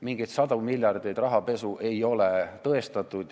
Mingeid sadu miljardeid rahapesu ei ole tõestatud.